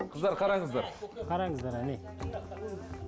қыздар қараңыздар қараңыздар әне